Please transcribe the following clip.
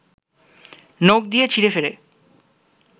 নখ দিয়ে ছিঁড়েফেড়ে